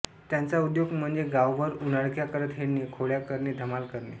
त्यांचा उद्योग म्हणजे गावभर उनाडक्या करत हिंडणे खोड्या करणे धमाल करणे